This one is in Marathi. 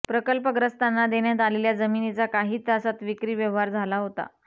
प्रकल्पग्रस्तांना देण्यात आलेल्या जमिनीचा काही तासात विक्री व्यवहार झाला होता